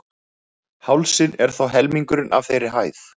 Hálsinn er þó helmingurinn af þeirri hæð.